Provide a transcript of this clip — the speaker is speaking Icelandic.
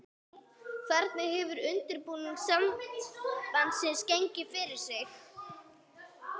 Hvernig hefur undirbúningstímabilið annars gengið fyrir sig?